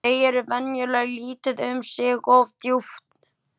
Þau eru venjulega lítil um sig og oft djúp.